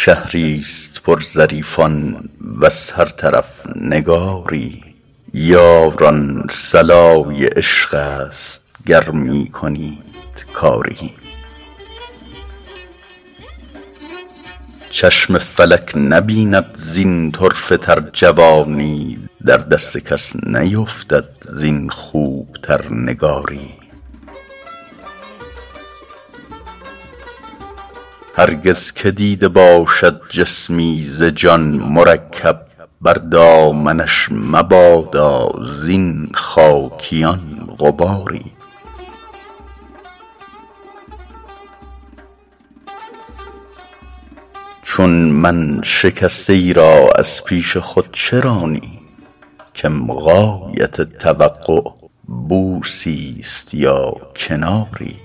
شهری ست پر ظریفان وز هر طرف نگاری یاران صلای عشق است گر می کنید کاری چشم فلک نبیند زین طرفه تر جوانی در دست کس نیفتد زین خوب تر نگاری هرگز که دیده باشد جسمی ز جان مرکب بر دامنش مبادا زین خاکیان غباری چون من شکسته ای را از پیش خود چه رانی کم غایت توقع بوسی ست یا کناری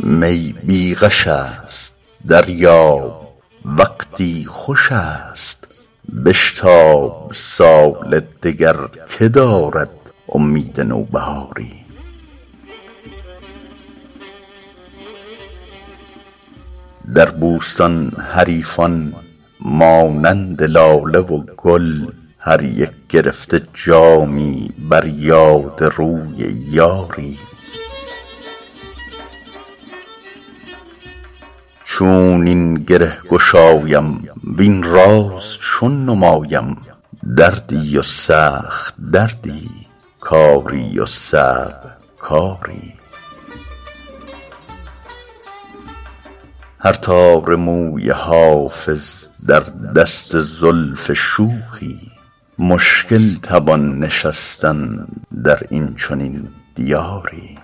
می بی غش است دریاب وقتی خوش است بشتاب سال دگر که دارد امید نوبهاری در بوستان حریفان مانند لاله و گل هر یک گرفته جامی بر یاد روی یاری چون این گره گشایم وین راز چون نمایم دردی و سخت دردی کاری و صعب کاری هر تار موی حافظ در دست زلف شوخی مشکل توان نشستن در این چنین دیاری